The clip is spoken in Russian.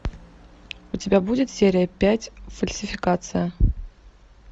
у тебя будет серия пять фальсификация